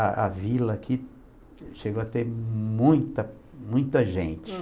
A a vila aqui chegou a ter muita, muita gente.